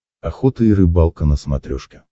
охота и рыбалка на смотрешке